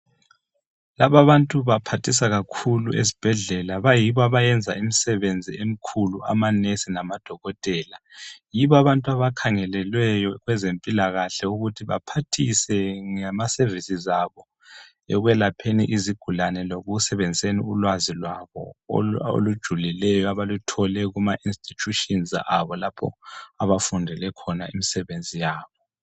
Labantu baphathisa kakhulu esibhedlela ,bayibo abayenza imisebenzi emikhulu amanesi labodokotela yibo ababantu abakhangelelweyo kwezempilakahle ukuba baphathise ngama services abo ekwelapheni izigulane lekusebenziseni ulwazi lwabo olujulileyo abaluthole Kuma institutions lapho abafundele khona imisebenzi yabo.